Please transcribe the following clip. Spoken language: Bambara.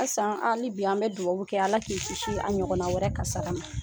Asan hali bi an bɛ dugawu kɛ ala k'i kisi a ɲɔgɔn na wɛrɛ kasara ma.